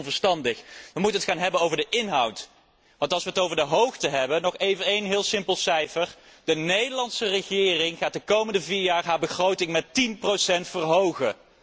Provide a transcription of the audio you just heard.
Dit lijkt me heel onverstandig. We moeten het nu hebben over de inhoud. Want als we het over de hoogte hebben, nog even één heel simpel cijfer de Nederlandse regering gaat de komende vier jaar haar begroting met tien procent verhogen.